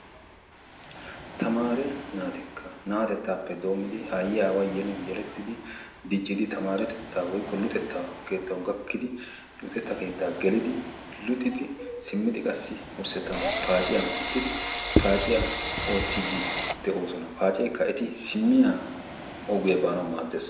Tamaare naatikka naatettaappe doommidi aayyiya aawayi yelin yelettidi diccidi tamaaretettaa woykko luxettaa keettawu gakkidi luxetta keettaa gelidi luxidi simmidi qassi wurssettan paaciyan uttidi paaciya oottiiddi de"oosona. Paaceekka eti simmiya ogiya baanawu maaddes.